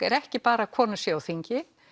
er ekki bara að konur séu á þingi